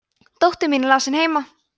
dóttir mín er lasin heima